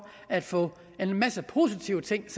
at få en masse positive ting